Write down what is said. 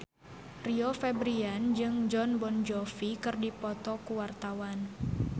Rio Febrian jeung Jon Bon Jovi keur dipoto ku wartawan